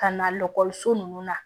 Ka na so nunnu na